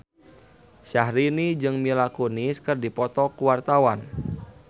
Syahrini jeung Mila Kunis keur dipoto ku wartawan